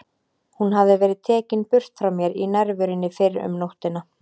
Hún hafði verið tekin burt frá mér í nærverunni fyrr um nóttina.